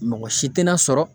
Mɔgɔ si tɛna sɔrɔ